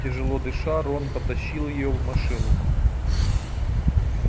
тяжело дыша рон потащил её в машину